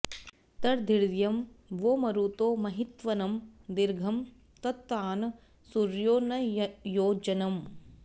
तद्वी॒र्यं॑ वो मरुतो महित्व॒नं दी॒र्घं त॑तान॒ सूर्यो॒ न योज॑नम्